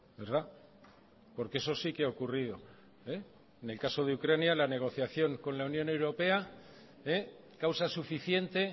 verdad porque eso si que ha ocurrido en el caso de ucrania la negociación con la unión europea causa suficiente